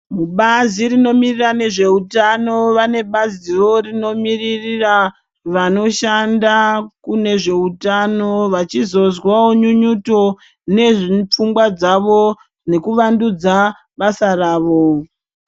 Mubazo rinomirira nezveutano vane baziwo rinomiririra vanoshanda kune zveutano vachizozwawo nyunyuto nepfungwa dzavo nekuvandudza basa ravo .